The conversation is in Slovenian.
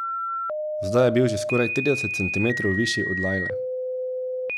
Zdaj je bil že skoraj trideset centimetrov višji od Lajle.